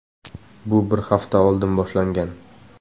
Bu bir hafta oldin boshlangan.